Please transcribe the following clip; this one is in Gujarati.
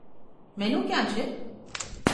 મેનુ ક્યાં છે?